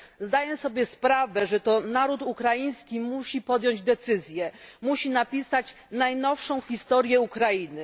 Zdaję sobie sprawę, że to naród ukraiński musi podjąć decyzję, musi napisać najnowszą historię Ukrainy.